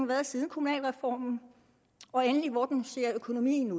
været siden kommunalreformen og endelig hvordan økonomien